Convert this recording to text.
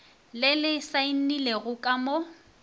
le le saenilego ka mo